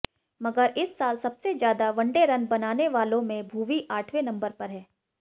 मगर इस साल सबसे ज्यादा वनडे रन बनाने वालों में भुवी आठवें नंबर पर हैं